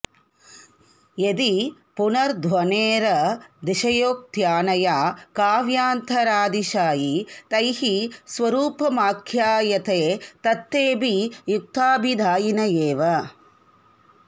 यदि पुनर्ध्वनेरतिशयोक्त्यानया काव्यान्तरातिशायि तैः स्वरूपमाख्यायते तत्तेऽपि युक्ताभिधायिन एव